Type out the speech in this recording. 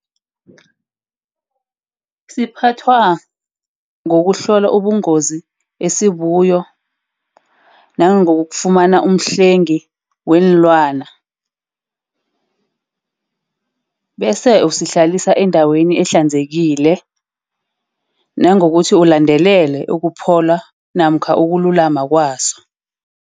Siphathwa ngokuhlola ubungozi esibuyo. Nangokufumana umhlengi weenlwana. Bese usihlalisa endaweni ahlanzekile. Nangokuthi ulandelele ukuphola namkha ukululama kwaso.